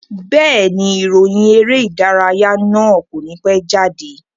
Bẹ́ẹ̀ni, ìròyìn eré ìdárayá náà kò ní pẹ́ jáde